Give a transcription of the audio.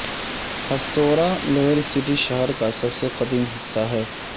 ہتسوہ کے lower city شہر کا سب سے قدیم حصہ ہے